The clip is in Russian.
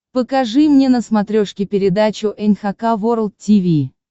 покажи мне на смотрешке передачу эн эйч кей волд ти ви